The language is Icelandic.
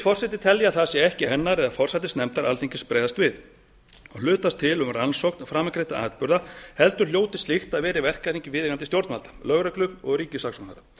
forseti telja að það sé ekki hennar eða forsætisnefndar alþingis að bregðast við og hlutast til um rannsókn framangreindra atburða heldur hljóti slíkt að vera í verkahring viðeigandi stjórnvalda lögreglu og ríkissaksóknara